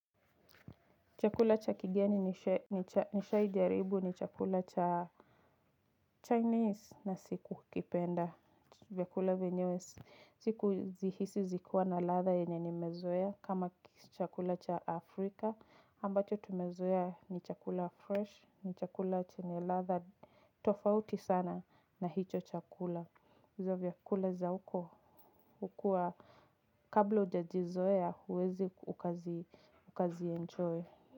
Chakula cha kigeni nishaijaribu ni chakula cha Chinese na sikukipenda vyakula venyewe sikuzihisi zikiwa na ladha yenye nimezoea. Kama chakula cha afrika ambacho tumezoea ni chakula fresh ni chakula chenye ladha tofauti sana na hicho chakula hizo vyakula za huko hukua kabla ujazizoea huwezi ukazienjoy.